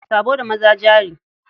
Sabo da maza jari.